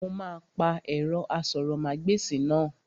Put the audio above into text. Mo máa pa ẹ̀rọ asọ̀rọ̀mágbèsì náà